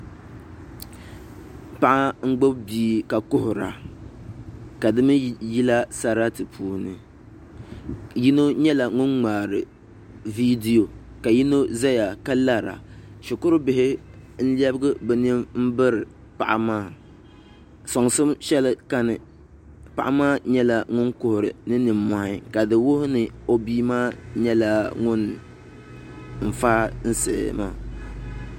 Paɣa n gbubi bia ka kuhura ka di mii yila sarati puuni yino nyɛla ŋun ŋmaari viidiyo ka yino ʒɛya ka lara shikuru bihi n lɛbigi bi nini biri paɣa maa soŋsim shɛli kani paɣa maa nyɛla ŋun kuhuri ni nimmohi ka di wuhi ni o bia maa nyɛla ŋun faai siɣi maa